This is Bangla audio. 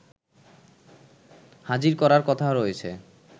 হাজির করার কথা রয়েছে